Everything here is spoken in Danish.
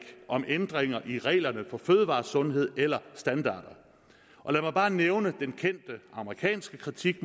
om ændringer i reglerne om fødevaresundhed eller standarder og lad mig bare nævne den kendte amerikanske kritik